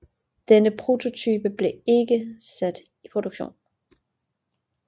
Denne prototype blev ikke sat i produktion